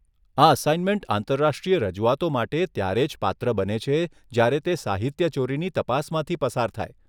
આ અસાઇનમેન્ટ આંતરરાષ્ટ્રીય રજૂઆતો માટે ત્યારે જ પાત્ર બને છે જ્યારે તે સાહિત્યચોરીની તપાસમાંથી પસાર થાય.